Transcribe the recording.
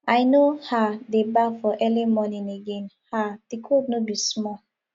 i no um dey baff for early morning again um di cold no be small